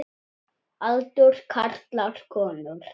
Aldur karlar konur